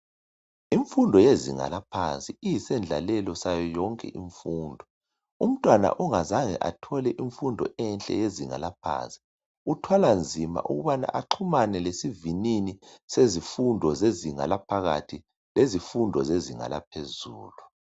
Imfundo yezinga laphansi iyisendlalelo sayoyonke imfundo. Umntwana ongazange athole imfundo enhle eyezinga laphansi. Uthwalanzima ukubana axhumane lesivinini sezifundo zezinga laphakathi, lezifundo zezinga laphezulu.